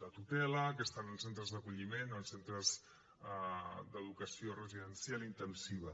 de tutela que estan en centres d’acolliment o en centres d’educació residencial intensiva